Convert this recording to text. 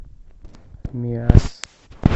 миасс